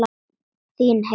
Þín Helena.